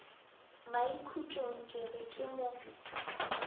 maikhutšong ke re ke mo